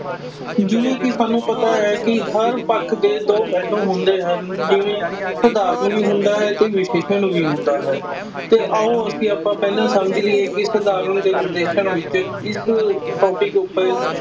ਜਿਵੇਂ ਕਿ ਸਾਨੂੰ ਪਤਾ ਹੈ ਕਿ ਹਰ ਪੱਖ ਦੇ ਦੋ ਪਹਿਲੂ ਹੁੰਦੇ ਹਨ ਜਿਵੇਂ ਸਧਾਰਨ ਵੀ ਹੁੰਦਾ ਹੈ ਤੇ ਵਿਸ਼ੇਸ਼ਣ ਵੀ ਹੁੰਦਾ ਹੈ ਤੇ ਆਓ ਅਸੀਂ ਆਪਾਂ ਪਹਿਲਾਂ ਸਮਝੀਏ ਕਿ ਸਧਾਰਨ ਤੇ ਵਿਸ਼ੇਸ਼ਣ ਵਿੱਚ ਕਿਸ topic ਉੱਪਰ